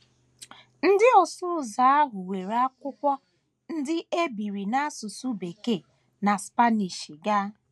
Ndị ọsụ ụzọ ahụ weere akwụkwọ ndị e biri n’asụsụ Bekee na Spanish gaa.